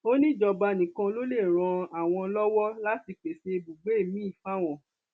ó ní ìjọba nìkan ló lè ran àwọn lọwọ láti pèsè ibùgbé miín fáwọn